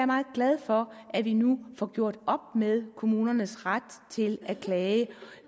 meget glad for at vi nu får gjort op med kommunernes ret til at klage